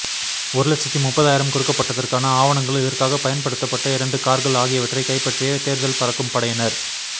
ஒரு லட்சத்து முப்பதாயிரம் கொடுக்கப்பட்டதற்கான ஆவணங்கள் இதற்காக பயன்படுத்தப்பட இரண்டு கார்கள் ஆகியவற்றை கைப்பற்றிய தேர்தல் பறக்கும் படையினர்